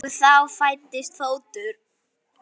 Og þá fæddist fótur.